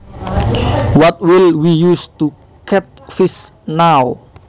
What will we use to catch fish now